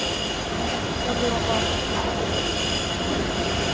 Då blir man bara trött och törstig.